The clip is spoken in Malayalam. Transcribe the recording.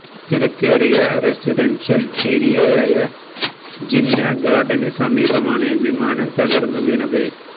തിരക്കേറിയ റെസിഡന്ഷ്യല് ഏരിയയായ ജിന്നാ ഗാര്ഡന് സമീപമാണ് വിമാനം തകര്ന്നു വീണത്